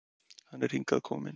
Hann er hingað kominn.